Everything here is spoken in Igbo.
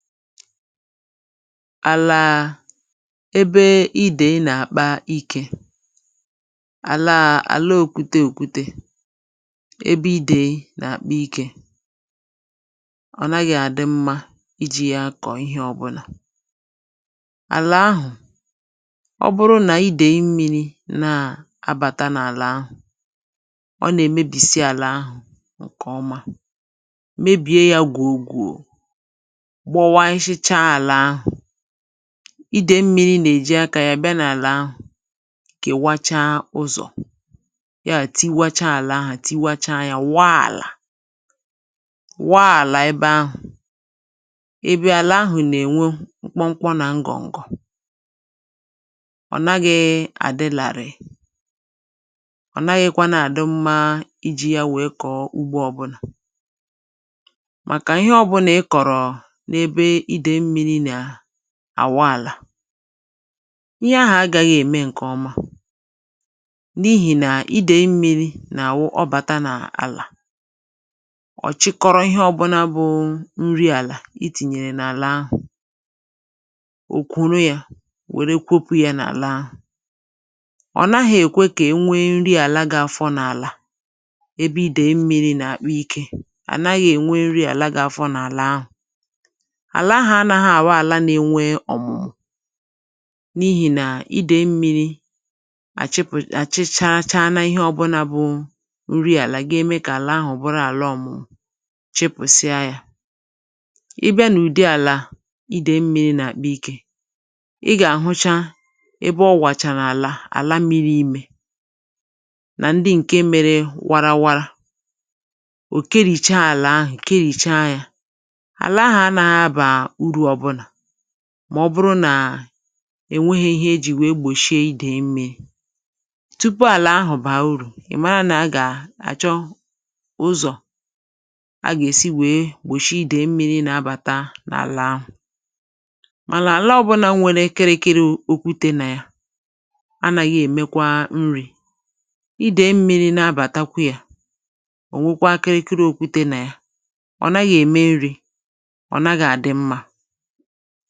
àlà ebe idèe nà àkpa ikē. àlà àla òkwute okwute, ebe idèe nà àkpa ikē, ọ naghị àdị mmā ijī ya akọ̀ ịhẹ ọbụlà. àlà ahụ̀, ọ bụ nà idèe mmīrī abàta nà àlà ahụ, ọ nà èmebìsi àlà ahụ̀ ǹkẹ̀ ọma, mebie ya gwò gwò, gbọwasịcha àlà ahụ̀. idèe mmirī nà èji akā ya bịa n’àlà ahụ̀, kẹ̀wacha ụzọ̀, yà tiwacha àlà ahụ̀, tiwacha ya, wa àlà, wa àlà ẹbẹ ahụ̀. ịbịa, àlà ahụ̀ nà ènwe mkpọmkpọ nà ngọ̀ǹgọ̀. ọ̀ naghị àdị larìì. ọ̀ naghịkwanụ àdị mma ijī ya wẹ̀ẹ kọ̀ọ ugbō ọbụlà. màkà ịhẹ ọbụlā ị kọ̀rọ, n’ẹbẹ idèe mmirī nà àwa àlà, ịhẹ ahụ̀ agāghị ẹ̀mẹ ǹkẹ ọma, n’ihì nà idèe mmirī nà àwụ ọbàta n’àlà, ọ̀ chịkọrọ ịhẹ ọwụnā wụ nrị àlà I tìnyè n;àlà ahụ̀, ò kwòro ya ,wẹ kwopū ya n’àlà ahụ̀. ọ naghị̄ èkwe kà e nwe nri àla ga afọdụ n’àlà ebe idèe mmirī nà àkpa ikē, ànaghị ènwe nri àla ga afọ n’àlà ahụ̀. àlà ahụ̀ anāghị àwụ àla na enwe ọ̀mụ̀mụ, n’ihì nà idèe mmirī àchịpụ̀ àchịchara ịhẹ ọbụ̀la bụ nri àlà, ga eme kà àla ahụ̀ bụrụ àla ọmụmụ, chịpụ̀sịā ya. ị bịa n’ụ̀dị àlà idèe mmirī nà àkpa ikē, ị gà àhụcha ebe ọ wàrà àlà, àla mīri imē, nà ndị ǹkẹ mẹrẹ warawa. ò kerìcha àlà ahụ̀, kerìcha ya. àlà ahụ anaghị abà urū ọbụlà, mà ọ bụrụ nà è nweghi ihe e jì wèe gbòshie idèe mmirī. tupù àlà ahụ̀ bàa uru, ị̀ ma nà a gà àchọ ụzọ̀ a gà èsi wẹ̀e gbòshie idèe mmirī na abàta n’àlà. mànà àla ọbụla nwere kịrị kịrị okwute nà ya, anāghị èmekwa nrī. idèe mmirī nà abàtakwa ya, ò nwekwa kịrịkịrị okwute nà yà. ọ̀ naghị̄ ẹmẹ nrī, ọ̀ naghị àdị mmā.